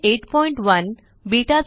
081 बेटा